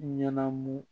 Ɲanamu